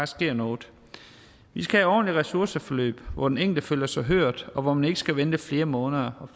sker noget vi skal have ordentlige ressourceforløb hvor den enkelte føler sig hørt og hvor man ikke skal vente flere måneder og